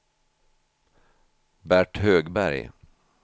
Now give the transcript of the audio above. Bert Högberg